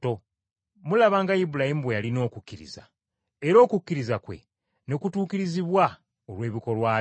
Mulaba nga Ibulayimu bwe yalina okukkiriza, era okukkiriza kwe ne kutuukirizibwa olw’ebikolwa bye,